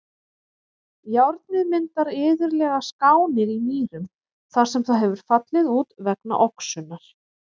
Járnið myndar iðulega skánir í mýrum þar sem það hefur fallið út vegna oxunar.